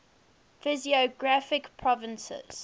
physiographic provinces